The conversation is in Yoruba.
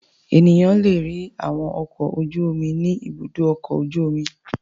Ènìyàn le rí àwọn ọkọ̀ ojú-omi ní Ibùdó-ọkọ̀ ojú-omi.